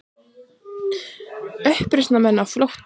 Uppreisnarmenn á flótta